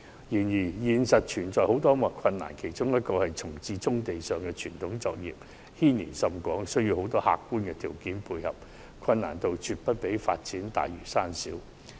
然而，實際操作有很多困難，其中之一是重置棕地上的傳統作業，牽連甚廣，需要眾多客觀條件配合，難度絕不下於發展大嶼山。